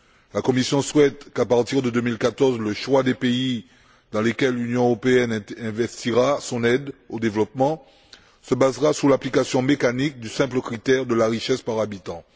La Commission souhaite qu'à partir de 2014, le choix des pays dans lesquels l'Union européenne investira son aide au développement se base sur l'application mécanique du simple critère de la richesse par habitant.